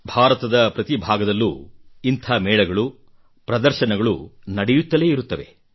ಭಾರತದ ಪ್ರತಿ ಭಾಗದಲ್ಲೂ ಇಂಥ ಮೇಳಗಳು ಪ್ರದರ್ಶನಗಳು ಆಯೋಜಿತಗೊಳ್ಳುತ್ತಲೇ ಇರುತ್ತವೆ